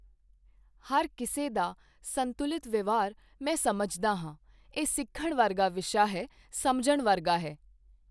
ਹਰ ਕਿਸੇ ਦਾ ਸੰਤੁਲਿਤ ਵਿਵਹਾਰ ਮੈਂ ਸਮਝਦਾ ਹਾਂ ਇਹ ਸਿੱਖਣ ਵਰਗਾ ਵਿਸ਼ਾ ਹੈ, ਸਮਝਣ ਵਰਗਾ ਹੈ।